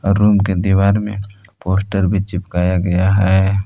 Room के दीवार में पोस्टर भी चिपकाया गया है।